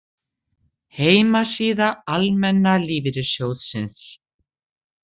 Heimasíða Almenna lífeyrissjóðsins